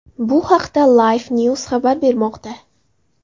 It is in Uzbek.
Bu haqda LifeNews xabar bermoqda .